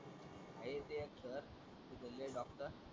आहे ते एक सर ते बोलले डॉक्टर.